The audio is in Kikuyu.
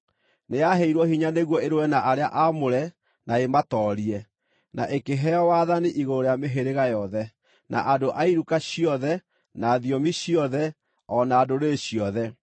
Nĩyaheirwo hinya nĩguo ĩrũe na arĩa aamũre na ĩmatoorie. Na ĩkĩheo wathani igũrũ rĩa mĩhĩrĩga yothe, na andũ a iruka ciothe, na thiomi ciothe, o na ndũrĩrĩ ciothe.